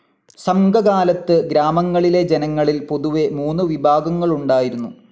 സംഘകാലത്ത് ഗ്രാമങ്ങളിലെ ജനങ്ങളിൽ പൊതുവേ മൂന്നു വിഭാഗങ്ങളുണ്ടായിരുന്നു.